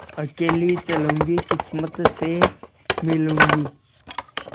अकेली चलूँगी किस्मत से मिलूँगी